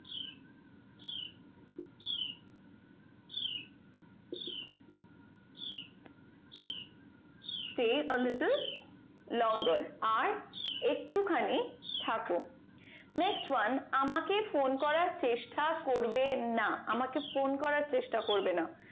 Stay are little longer আর একটুখানিক থাকো next one আমাকে phone করার চেষ্টা করবে না আমাকে phone করার চেষ্টা করবে না